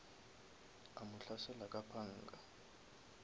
a mo hlasela ka panga